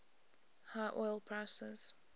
high oil prices